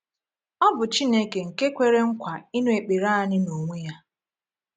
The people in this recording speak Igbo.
Ọ bụ Chineke nke kwere nkwa ịnụ ekpere anyị n’onwe Ya.